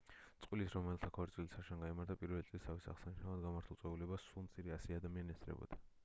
წყვილის რომელთა ქორწილიც შარშან გაიმართა პირველი წლისთავის აღსანიშნავად გამართულ წვეულებას სულ მცირე ასი ადამიანი ესწრებოდა